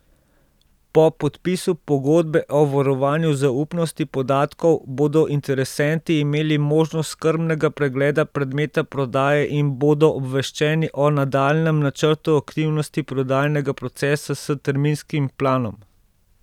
Po podpisu pogodbe o varovanju zaupnosti podatkov bodo interesenti imeli možnost skrbnega pregleda predmeta prodaje in bodo obveščeni o nadaljnjem načrtu aktivnosti prodajnega procesa s terminskim planom.